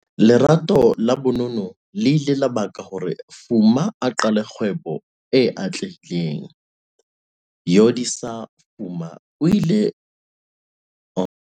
LERATO LA bonono le ile la baka hore Fuma a qale kgwebo e atlehileng. Yolisa Fuma o tsamaile leeto le sa tlwaelehang ho tloha ho